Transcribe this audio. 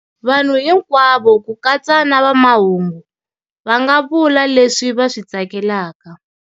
Vanhu hinkwawo, ku katsa na vamahungu, va nga vula leswi va swi tsakelaka.